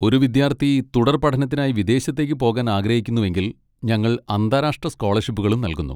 ഒരു വിദ്യാർത്ഥി തുടർ പഠനത്തിനായി വിദേശത്തേക്ക് പോകാൻ ആഗ്രഹിക്കുന്നുവെങ്കിൽ ഞങ്ങൾ അന്താരാഷ്ട്ര സ്കോളർഷിപ്പുകളും നൽകുന്നു.